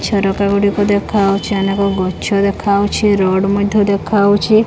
ଝରକା ଗୁଡ଼ିକ ଦେଖାଯାଉଛି ଅନେକ ଗଛ ଦେଖାଯାଉଛି ରୋଡ୍ ମଧ୍ୟ ଦେଖାଯାଉଛି।